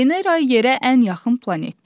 Venera yerə ən yaxın planetdir.